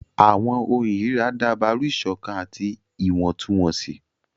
Àwọn ohùn irira dabaru iṣọkan ati iwọntunwọnsi.